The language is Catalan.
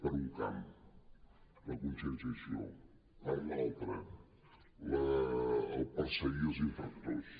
per un camp la conscienciació per l’altre perseguir els infractors